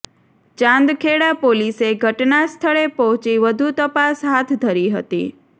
ચાંદખેડા પોલીસે ઘટના સ્થળે પહોંચી વધુ તપાસ હાથ ધરી હતી